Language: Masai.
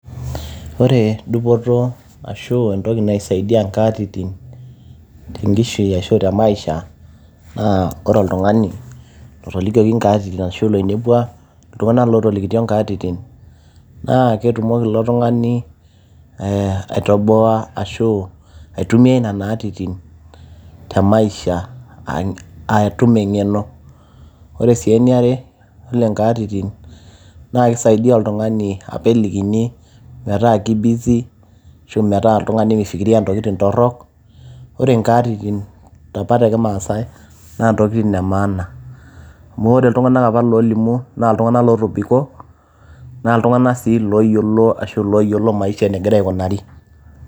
ore dupoto arashu entoki naisaidia inkatitin tenkishui ashu te maisha naa ore oltung'ani lotolikioki nkaatitin ashu loinepua iltung'anak lotolikitio inkatitin naa ketumoki ilo tung'ani eh, aitoboa ashu aitumia nena atitin te maisha atum eng'eno, ore sii eniare ole nkaatitin naa kisaidia oltung'ani apa elikini metaa ki busy ashu metaa oltung'ani mifikiria intokitin torrok ore inkaatitin apa tekimaasae naa ntokitin e maana amu ore iltung'anak apa lolimu naa iltung'anak lotobiko naa iltung'anak sii loyiolo ashu loyiolo maisha enegira aikunari.